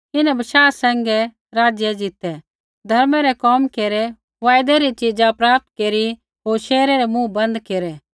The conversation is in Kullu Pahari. इन्हैं बशाह सैंघै राज्य ज़ीतै धर्मै रै कोम केरै वायदै री च़ीज़ा प्राप्त केरी होर शेरै रै मुँह बन्द केरै